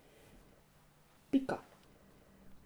Pika.